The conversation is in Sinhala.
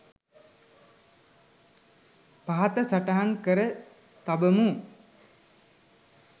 පහත සටහන් කර තබමු.